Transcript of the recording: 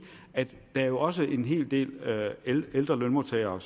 at der jo også er en hel del ældre lønmodtagere